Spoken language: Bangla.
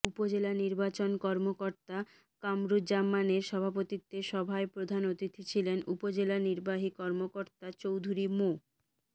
উপজেলা নির্বাচন কর্মকর্তা কামরুজ্জামানের সভাপতিত্বে সভায় প্রধান অতিথি ছিলেন উপজেলা নির্বাহী কর্মকর্তা চৌধুরী মো